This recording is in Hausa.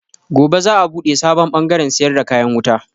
Gobe za a buɗe sabon bangaren siyar da kayan wuta.